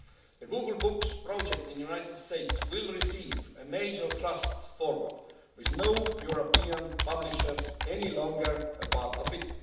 The Google Books Project in the United States will receive a major thrust forward, with no European publishers any longer a part